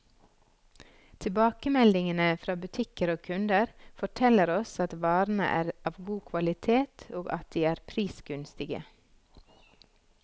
Tilbakemeldingene fra butikker og kunder, forteller oss at varene er av god kvalitet, og at de er prisgunstige.